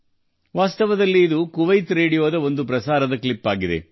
ವಾಸ್ತವವಾಗಿ ಇದು Kuwait radio ಪ್ರಸಾರದ ಕ್ಲಿಪ್ ಆಗಿದೆ